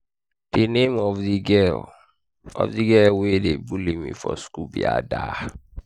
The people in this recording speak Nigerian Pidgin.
the name of the girl of the girl wey dey bully me for school be ada